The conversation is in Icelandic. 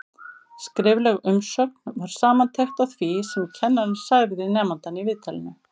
Skrifleg umsögn var samantekt á því sem kennarinn sagði við nemandann í viðtalinu.